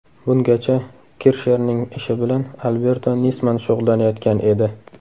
Bungacha Kirshnerning ishi bilan Alberto Nisman shug‘ullanayotgan edi.